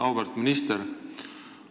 Auväärt minister!